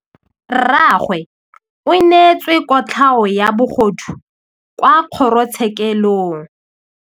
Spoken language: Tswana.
Rragwe o neetswe kotlhaô ya bogodu kwa kgoro tshêkêlông.